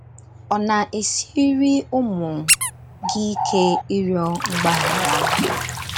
Ọ̀ na - esiri ụmụ gị ike ịrịọ mgbaghara?